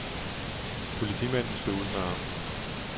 Politimanden slog ud med armen.